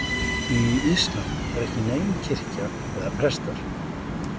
Í íslam er ekki nein kirkja eða prestar.